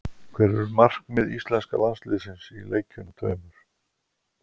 Hver eru markmið íslenska landsliðsins í leikjunum tveimur?